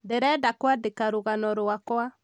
ndĩreda kwadĩka rũgano rwakwa